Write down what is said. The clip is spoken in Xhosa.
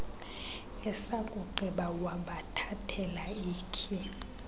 esakugqiba wabathathela ikhi